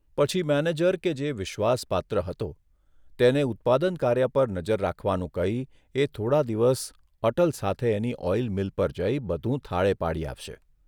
પછી મેનેજર કે જે વિશ્વાસપાત્ર હતો તેને ઉત્પાદન કાર્ય પર નજર રાખવાનું કહી એ થોડા દિવસ અટલ સાથે એની ઓઇલ મિલ પર જઇ બધું થાળે પાડી આવશે.